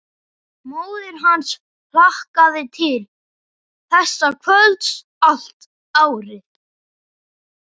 Móðir hans hlakkaði til þessa kvölds allt árið.